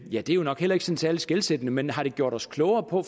ja det er nok heller ikke særlig skelsættende men har det gjort os klogere på